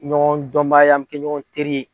Ɲɔgɔn dɔnbagaya an bɛ kɛ ɲɔgɔn teri